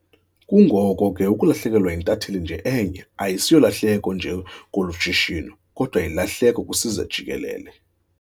Kungoko ke ukulahlekelwa yintatheli nje enye asiyolahleko nje kolu shishino kodwa yilahleko kwisizwe jikelele.